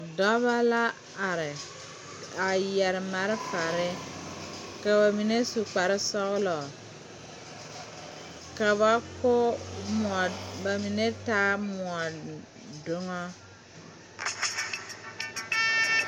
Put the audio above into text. Dɔba la are a yɛre malfare ka ba mine su kparesɔglɔ ka ba ko mɔ ba mine taaɛ mɔdoŋa.